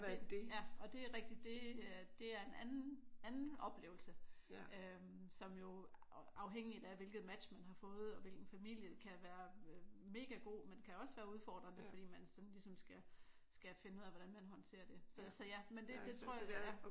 Og det og det er rigtigt. Det øh det er en anden oplevelse som jo afhængigt af hvilket match man har fået og hvilken familie kan være mega god men kan også være udfordrende fordi man sådan ligesom skal skal finde ud af hvordan man skal håndtere det. Så ja men det tror jeg det er